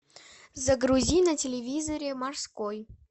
загрузи на телевизоре морской